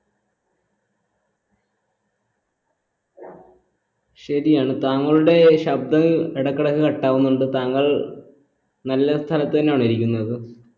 ശരിയാണ് താങ്കളുടെ ശബ്ദം ഇടക്കിടക്ക് cut ആവുന്നുണ്ട് താങ്കൾ നല്ല സ്ഥലത്ത് തന്നെ ആണോ ഇരിക്കുന്നത്